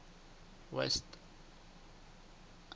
west